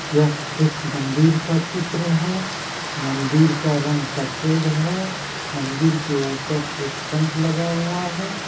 यह एक मंदिर का चित्र है मंदिर का रंग सफेद है मंदिर के ऊपर एक शंख लगा हुआ है।